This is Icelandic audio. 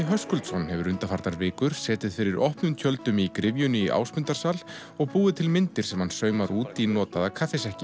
Höskuldsson hefur undanfarnar vikur setið fyrir opnum tjöldum í gryfjunni í Ásmundarsal og búið til myndir sem hann saumar út í notaða